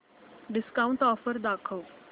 discount offer दाखव